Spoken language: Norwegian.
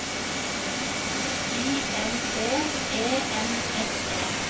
I N T E N S E